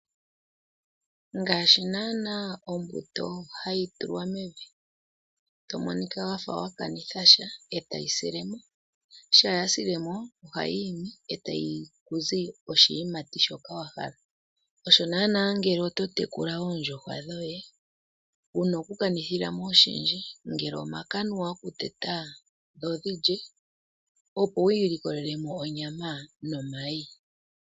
Ngaashi naana ombuto hayi tulwa mevi tomo nika wafa wa kanitha sha etayi sile mo, sha ya sile mo ohayi imi etayi zi oshiimati shoka wahala, osho naana ngele oto tekula oondjuhwa dhoye wuna oku kanithila mo wo oshindji ngele omakanuwa oku teta dho dhilye, opo wi ilikolelemo onyama nomayi.